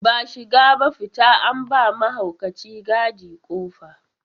Ba shiga ba fita, an ba wa mahaukaci gadi ƙofa.